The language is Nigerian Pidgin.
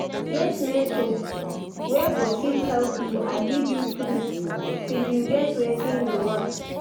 Get mentor wey go fit help you and lead you through till you get wetin you want